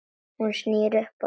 Hún snýr upp á sig.